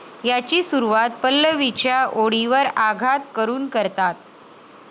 याची सुरवात पल्लवीच्या ओळीवर आघात करून करतात.